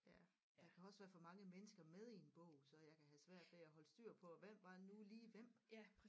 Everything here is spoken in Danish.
Ja der kan også være for mange mennesker med i en bog så jeg kan have svært ved at holde styr på hvem var nu lige hvem